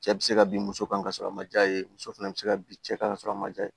Cɛ bi se ka bin muso kan ka sɔrɔ a ma ja ye muso fɛnɛ bi se ka bin cɛ kan sɔrɔ a ma ja